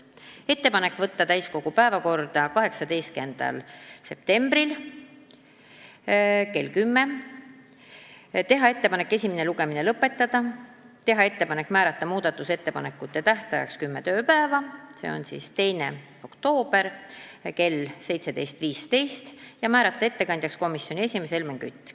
Meil oli ettepanek saata eelnõu täiskogu päevakorda 18. septembriks, teha ettepanek esimene lugemine lõpetada, teha ettepanek määrata muudatusettepanekute esitamise tähtajaks kümme tööpäeva, s.o 2. oktoober kell 17.15, ja määrata ettekandjaks komisjoni esimees Helmen Kütt.